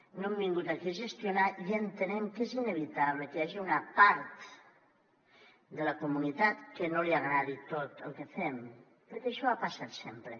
no hem vingut aquí a gestionar i entenem que és inevitable que hi hagi una part de la comunitat que no li agradi tot el que fem perquè això ha passat sempre